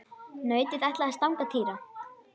Nautið ætlaði að stanga Týra.